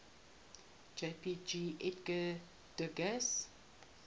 jpg edgar degas